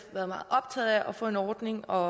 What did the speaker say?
været meget optaget af at få en ordning og